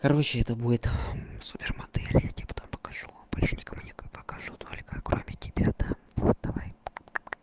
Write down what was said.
короче это будет супер модель я тебе потом покажу больше никому не покажу только кроме тебя да вот давай